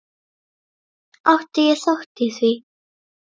Átti ég þátt í því?